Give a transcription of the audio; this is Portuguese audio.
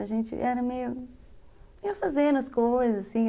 A gente era meio... Ia fazendo as coisas, assim.